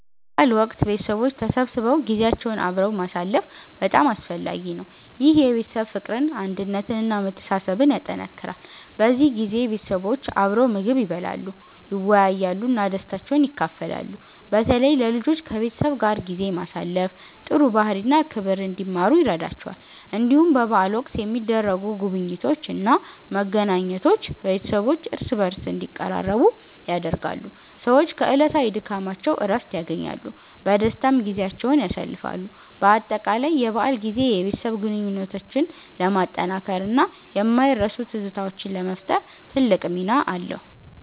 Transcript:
በበዓል ወቅት ቤተሰቦች ተሰብስበው ጊዜያቸውን አብረው ማሳለፍ በጣም አስፈላጊ ነው። ይህ የቤተሰብ ፍቅርን፣ አንድነትን እና መተሳሰብን ያጠናክራል። በዚህ ጊዜ ቤተሰቦች አብረው ምግብ ይበላሉ፣ ይወያያሉ እና ደስታቸውን ይካፈላሉ። በተለይ ለልጆች ከቤተሰብ ጋር ጊዜ ማሳለፍ ጥሩ ባህሪ እና ክብር እንዲማሩ ይረዳቸዋል። እንዲሁም በበዓል ወቅት የሚደረጉ ጉብኝቶች እና መገናኘቶች ቤተሰቦች እርስ በርስ እንዲቀራረቡ ያደርጋሉ። ሰዎች ከዕለታዊ ድካማቸው እረፍት ያገኛሉ፣ በደስታም ጊዜያቸውን ያሳልፋሉ። በአጠቃላይ የበዓል ጊዜ የቤተሰብ ግንኙነትን ለማጠናከር እና የማይረሱ ትዝታዎችን ለመፍጠር ትልቅ ሚና አለው።